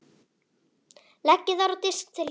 Leggið þær á disk til hliðar.